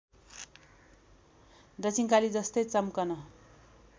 दक्षिणकाली जस्तै चम्कन